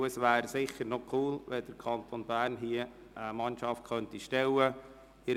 Es wäre sicher cool, wenn der Kanton Bern eine Mannschaft stellen könnte.